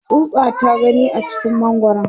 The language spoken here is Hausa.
tsutsa ta gani a cikin mangwaran